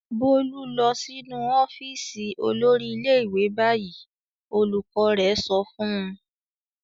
"Bólú lọ sínú ọ́fíísì olórí ilé-ìwé báyìí!" Olùkọ́ rẹ̀ sọ fún un.